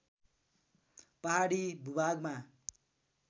पहाडी भूभागमा